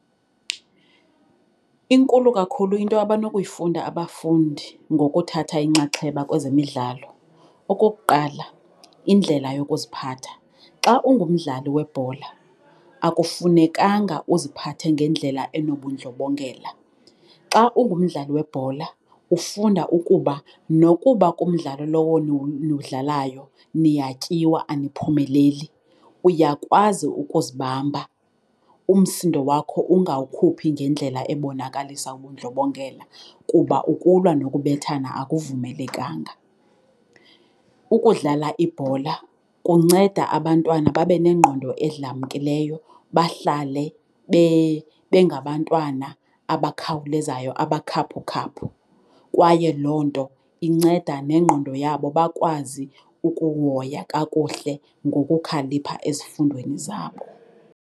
Inkulu kakhulu into abanokuyifunda abafundi ngokuthatha inxaxheba kwezemidlalo. Okukuqala, indlela yokuziphatha. Xa ungumdlali webhola akufunekanga uziphathe ngendlela enobundlobongela. Xa ungumdlali webhola ufunda ukuba nokuba kumdlali lowo niwudlalayo niyatyiwa, aniphumeleli uyakwazi ukuzibamba umsindo wakho ungawukhuphi ngendlela ebonakalisa ubundlobongela kuba ukulwa nokubethana akuvumelekanga. Ukudlala ibhola kunceda abantwana babe nengqondo edlamkileyo bahlale, bengabantwana abakhawulezayo, abakhaphukhaphu. Kwaye loo nto inceda nengqondo yabo bakwazi ukuhoya kakuhle ngokukhalipha ezifundweni zabo.